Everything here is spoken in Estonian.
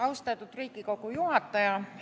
Austatud Riigikogu juhataja!